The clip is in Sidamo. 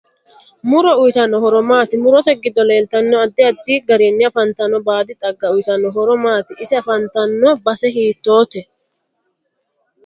Muro uyiitanno horo maati murote giddo leeltanno addi addi garinni afantanno baadi xaaga uyiitanno horo maati ise afantanno base hitoote